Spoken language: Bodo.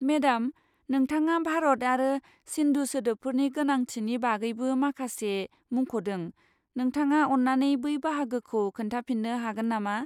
मेडाम, नोंथाङा भारत आरो सिन्धु सोदोबफोरनि गोनांथिनि बागैबो माखासे मुंख 'दों, नोंथाङा अन्नानै बै बाहागोखौ खोन्थाफिन्नो हागोन नामा?